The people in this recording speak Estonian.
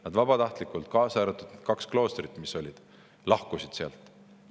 Nad vabatahtlikult, kaasa arvatud kaks kloostrit, mis olid, lahkusid sealt.